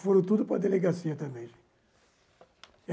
Foram tudo para a delegacia também.